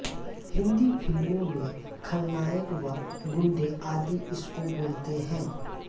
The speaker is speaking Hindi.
हिंदी फिल्मों में खलनायक व गुंडे आदि इसको बोलते हैं